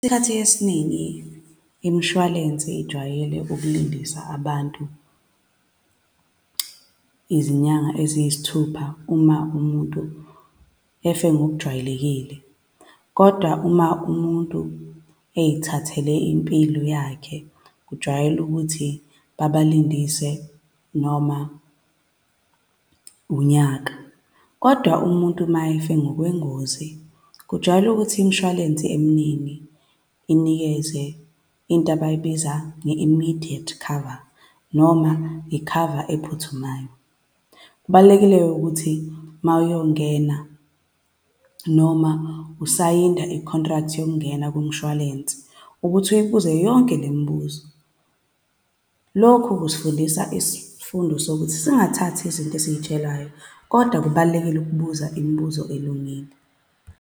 Esikhathini esiningi imishwalense ijwayele ukulindisa abantu izinyanga eziyisithupha, uma umuntu efe ngokujwayelekile. Kodwa uma umuntu eyithathele impilo yakhe, kujwayele ukuthi babalindise noma unyaka. Kodwa umuntu ma efe ngokwengozi, kujwayele ukuthi imshwalense eminingi inikeze into abayibiza nge-immidiate cover, noma i-cover ephuthumayo. Kubalulekile-ke ukuthi ma uyongena, noma usayinda i-contract yokungena kumshwalense ukuthi uyibuze yonke le mibuzo. Lokhu kusifundisa isifundo sokuthi singathathi izinto esizitshelwayo, kodwa kubalulekile ukubuza imibuzo elungile.